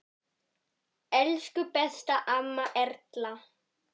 Elsku besta amma Erla.